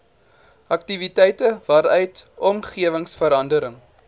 aktiwiteite waaruit omgewingsverandering